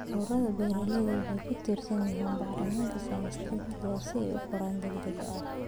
Ururada beeralayda waxay ku tiirsan yihiin bacriminta synthetic si ay u koraan degdeg ah.